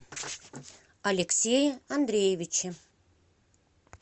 алексее андреевиче